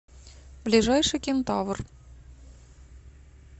ближайший кентавр